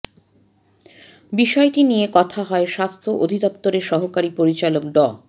বিষয়টি নিয়ে কথা হয় স্বাস্থ্য অধিদপ্তরের সহকারী পরিচালক ডা